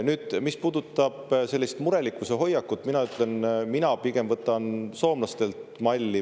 Nüüd, mis puudutab sellist murelikkuse hoiakut, siis mina pigem võtan soomlastelt malli.